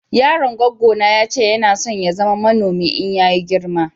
yaron gwaggo na ya ce Yana son ya zama manomi in ya yi girma.